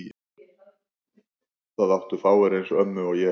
Það áttu fáir eins ömmu og ég.